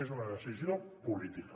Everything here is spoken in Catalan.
és una decisió política